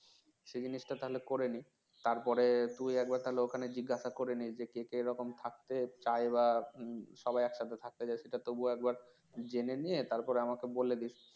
সেই জিনিসটা তাহলে করে নেই তারপরে তুই একবার তাহলে ওখানে জিজ্ঞাসা করে নিস যে কে কে এরকম থাকতে চায় বা সবাই একসাথে থাকতে চায় সেটা তবু একবার জেনে নিয়ে তারপর আমাকে বলে দিস